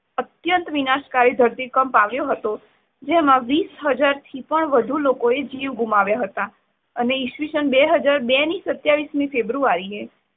અત્યંત વિનાશકારી ધરતીકંપ આવ્યો હતો જેમાં વિશ હાજાર થી પણ વધુ લોકોએ જીવ ગુમાવ્યા હતા. ઇસવિષંન બે હાજર બે ની સત્યાવીશ મી ફેબ્રુઆરીએ